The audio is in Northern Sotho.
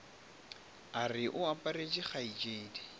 a re o aparetše kgaetšedi